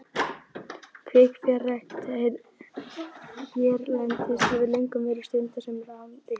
Kvikfjárrækt hérlendis hefur löngum verið stunduð sem rányrkja.